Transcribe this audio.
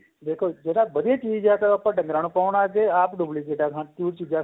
ਦੇਖੋ ਜਿਹੜਾ ਵਧੀਆ ਚੀਜ ਏ ਉਹ ਆਪਾਂ ਡੰਗਰਾ ਨੂੰ ਪਾਉਣ ਲੱਗ ਗਏ ਆਪ duplicate ਹੋਰ ਚੀਜਾਂ